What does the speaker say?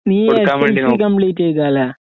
നീ degree complete ചെയ്തയല്ലെ?